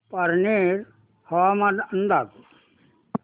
पारनेर हवामान अंदाज